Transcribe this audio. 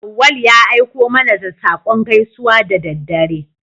Auwalu ya aiko mana da saƙon gaisuwa da daddare.